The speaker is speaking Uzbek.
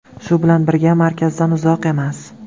Shu bilan birga, markazdan uzoq emas.